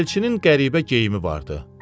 Elçinin qəribə geyimi vardı.